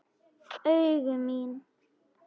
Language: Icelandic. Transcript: Augu mín.